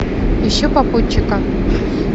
ищу попутчика